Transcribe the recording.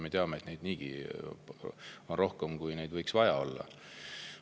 Me teame, et neid on niigi rohkem, kui neid võiks olla.